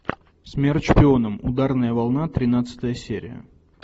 смерть шпионам ударная волна тринадцатая серия